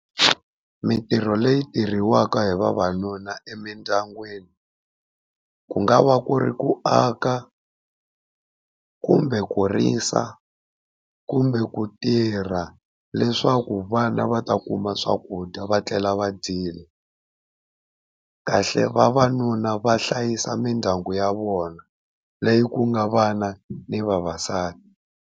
Mitirho leyi tirhiwaka hi vavanuna emindyangwini ku nga va ku ri ku aka, kumbe ku risa, kumbe ku tirha leswaku vana va ta kuma swakudya va tlela va dyile. kahle vavanuna va hlayisa mindyangu ya vona leyi ku nga vana ni vavasati.